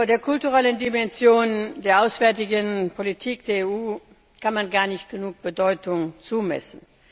Der kulturellen Dimension der auswärtigen Politik der EU kann man gar nicht genug Bedeutung beimessen.